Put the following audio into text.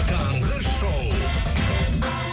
таңғы шоу